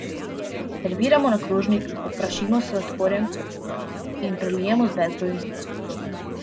Serviramo na krožnik, poprašimo z sladkorjem in prelijemo z bezgovim sirupom.